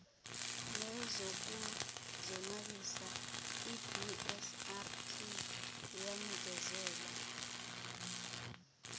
nezokuzonwabisa ibsrp yanikezela